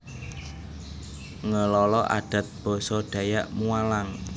Ngelala Adat Basa Dayak Mualang